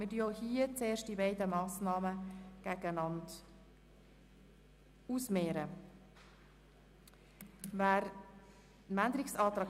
Im Voranschlag 2018 ist der Saldo der Produktgruppe 5.7.7 «Angebote für Menschen mit einem Pflege-, Betreuungs-, besonderen Bildungsbedarf» um CHF 8 Millionen zu erhöhen.